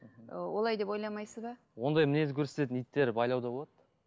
ы олай деп ойламайсыз ба ондай мінез көрсететін иттер байлауда болады